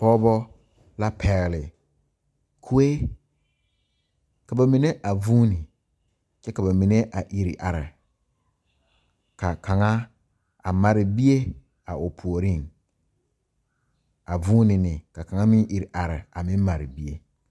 Pɔɔbɔ la pegle kuee ka ba mine a vuune kyɛ ka ba mine a ire are kaavkaŋa a mare bie a o puoriŋ a vuune neŋ ka kaŋa meŋ ire are a meŋ mare bie.